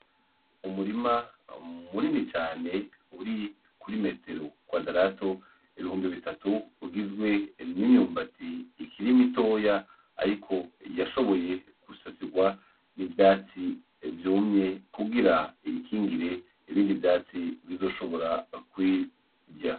Umurima munini cane uri kuri metero kwadrato ibihumbi bitatu ugizwe n'imyumbati ikiri mitoya ariko yashoboye gusasigwa ivyatsi vyumye kugira iyikingire ibindi vyatsi bizoshobora kuyigumya.